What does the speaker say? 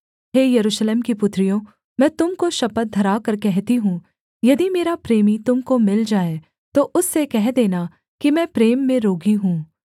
हे यरूशलेम की पुत्रियों मैं तुम को शपथ धराकर कहती हूँ यदि मेरा प्रेमी तुम को मिल जाए तो उससे कह देना कि मैं प्रेम में रोगी हूँ